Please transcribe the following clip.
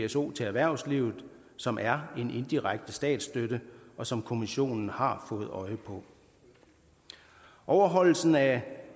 pso til erhvervslivet som er en indirekte statsstøtte og som kommissionen har fået øje på overholdelsen af